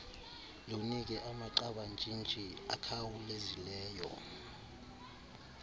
lunike amagqabantshintshi akhawulezileyo